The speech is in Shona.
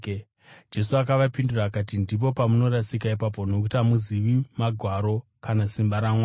Jesu akavapindura akati, “Ndipo pamunorasika ipapo nokuti hamuzivi Magwaro kana simba raMwari.